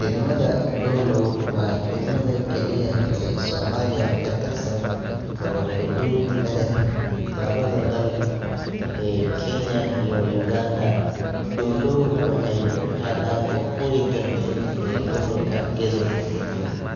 Degmada doolow waa degmada keliya ee soomaaliya ka tirsan oo xuduud la leh lawada dal ee kenya iyo uganda doolow waxay ku taalaa waqooyi galbeed ee gobolka gedo